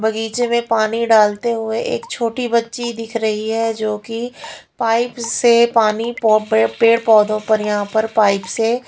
बगीचे में पानी डालते हुए एक छोटी बच्ची दिख रही है जो कि पाइप से पानी पेड़ पौधों पर यहाँ पर पाइप से--